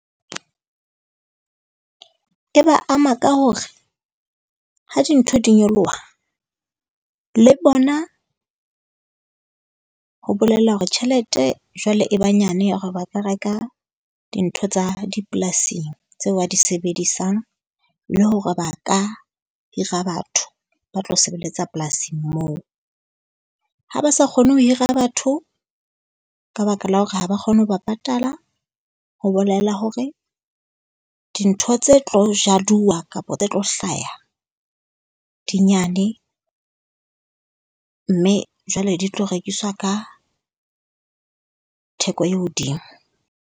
E ba ama ka hore ha dintho di nyoloha le bona ho bolela hore tjhelete jwale e ba nyane ya hore ba ka reka dintho tsa dipolasing tseo ba di sebedisang. le Hore ba ka hira batho ba tlo sebeletsa polasing moo. Ha ba sa kgone ho hira batho ka baka la hore ha ba kgone ho ba patala ho bolela hore dintho tse tlo jaduwa kapo tse tlo hlaha di nyane mme jwale di tlo rekiswa ka theko e hodimo.